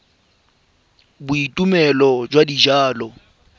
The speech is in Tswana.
tumelelo ya thomeloteng ya dijalo